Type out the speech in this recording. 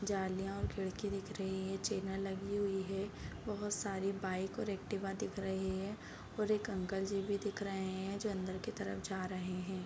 जालियाँ और खिड़की दिख रही हैं चैनल लगी हुई हैं। बहुत सारी बाइक और ऐकटीवा दिख रहें हैं और एक अंकल जी भी दिख रहें हैं जो अंदर की तरफ जा रहें हैं।